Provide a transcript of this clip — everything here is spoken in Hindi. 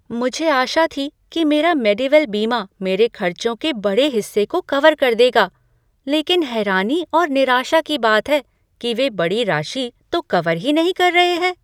मुझे आशा थी कि मेरा मेडीवेल बीमा मेरे खर्चों के बड़े हिस्से को कवर कर देगा। लेकिन हैरानी और निराशा की बात है कि वे बड़ी राशि तो कवर ही नहीं कर रहे हैं।